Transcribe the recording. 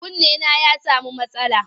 Kunnena ya sami matsala.